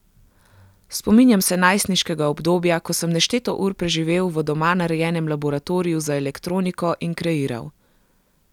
Spominjam se najstniškega obdobja, ko sem nešteto ur preživel v doma narejenem laboratoriju za elektroniko in kreiral.